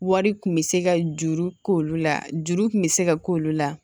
Wari kun bɛ se ka juru k'olu la juru kun bɛ se ka k'olu la